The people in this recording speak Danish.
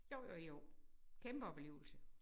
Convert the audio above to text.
Jo jo jo kæmpe oplevelse